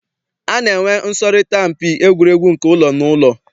A na-enwe nsọrịta mpi egwuregwu nke ụlọ na ụlọ.